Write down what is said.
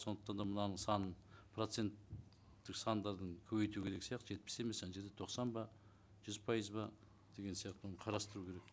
сондықтан да мынаның санын проценттік сандардың көбейту керек сияқты жетпіс емес ана жерде тоқсан ба жүз пайыз ба деген сияқты оны қарастыру керек